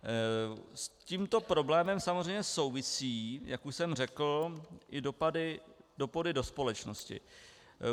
S tímto problémem samozřejmě souvisí, jak už jsem řekl, ty dopady do společnosti.